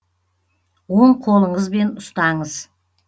оң қолыңызбен ұстаңыз